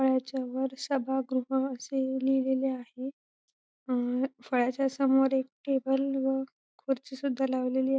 फळ्याच्या वर सभागृह असे लिहिलेले आहे अ फळ्याच्या समोर एक टेबल व खुर्ची सुद्धा लावलेली आ--